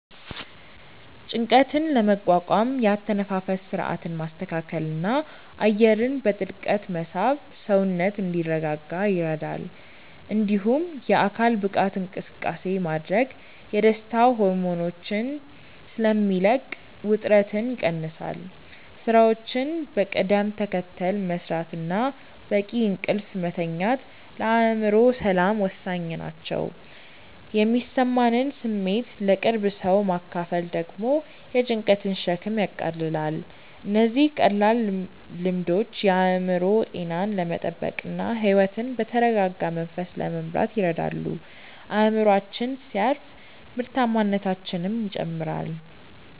ጭንቀትን ለመቋቋም የአተነፋፈስ ሥርዓትን ማስተካከልና አየርን በጥልቀት መሳብ ሰውነት እንዲረጋጋ ይረዳል። እንዲሁም የአካል ብቃት እንቅስቃሴ ማድረግ የደስታ ሆርሞኖችን ስለሚለቅ ውጥረትን ይቀንሳል። ሥራዎችን በቅደም ተከተል መሥራትና በቂ እንቅልፍ መተኛት ለአእምሮ ሰላም ወሳኝ ናቸው። የሚሰማንን ስሜት ለቅርብ ሰው ማካፈል ደግሞ የጭንቀትን ሸክም ያቃልላል። እነዚህ ቀላል ልምዶች የአእምሮ ጤናን ለመጠበቅና ሕይወትን በተረጋጋ መንፈስ ለመምራት ይረዳሉ። አእምሮአችን ሲያርፍ ምርታማነታችንም ይጨምራል።